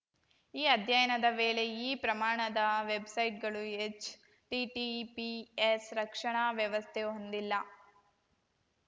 ಈ ಅಧ್ಯಯನದ ವೇಳೆ ಈ ಪ್ರಮಾಣದ ವೆಬ್‌ಸೈಟ್‌ಗಳು ಹೆಚ್‌ಟಿಟಿಪಿಎಸ್ ರಕ್ಷಣಾ ವ್ಯವಸ್ಥೆ ಹೊಂದಿಲ್ಲ